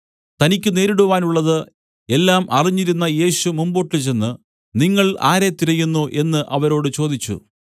തനിക്കു നേരിടുവാനുള്ളത് എല്ലാം അറിഞ്ഞിരുന്ന യേശു മുമ്പോട്ടു ചെന്ന് നിങ്ങൾ ആരെ തിരയുന്നു എന്നു അവരോട് ചോദിച്ചു